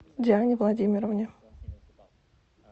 диане владимировне